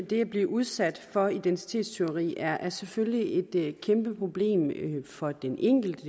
det at blive udsat for identitetstyveri er selvfølgelig et kæmpeproblem for den enkelte